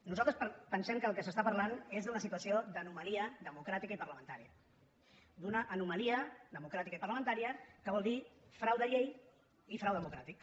nosaltres pensem que del que parlem és d’una situació d’anomalia democràtica i parlamentària d’una anomalia democràtica i parlamentària que vol dir frau de llei i frau democràtic